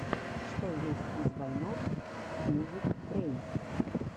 что есть из вайнов смувюкрэйн